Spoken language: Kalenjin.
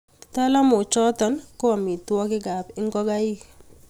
talamoichoto ko omitwogikab ngokaik